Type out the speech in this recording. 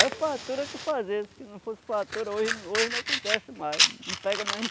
É fartura que fazia, se não fosse fartura, hoje hoje não acontece mais, não pega mais